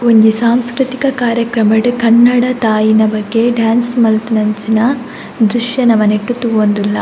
ಒಂಜಿ ಸಾಂಸ್ಕ್ರತಿಕ ಕಾರ್ಯಕ್ರಮಡ್ ಕನ್ನಡ ತಾಯಿಯ ಬಗ್ಗೆ ಡ್ಯಾನ್ಸ್ ಮನ್ಪುನಂಚಿನ ದ್ರಶ್ಯ ನಮ ನೆಟ್ಟ್ ತೂವೊಂದುಲ್ಲ.